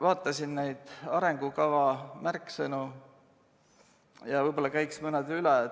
Vaatasin arengukava märksõnu ja võib-olla käiks mõned üle.